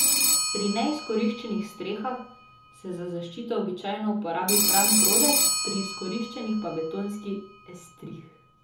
Pri neizkoriščenih strehah se za zaščito običajno uporabi pran prodec, pri izkoriščenih pa betonski estrih.